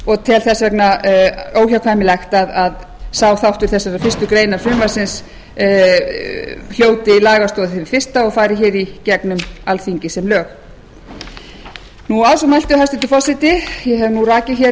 og tel því óhjákvæmilegt að sá þáttur fyrstu grein frumvarpsins hljóti lagastoð hið fyrsta og fari í gegnum alþingi sem lög virðulegi forseti ég hef rakið